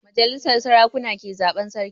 Majalisar sarakuna ke zaban sarki